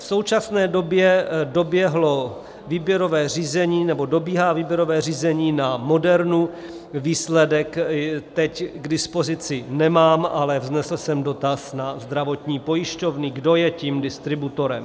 V současné době dobíhá výběrové řízení na Modernu, výsledek teď k dispozici nemám, ale vznesl jsem dotaz na zdravotní pojišťovny, kdo je tím distributorem.